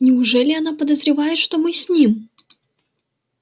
неужели она подозревает что мы с ним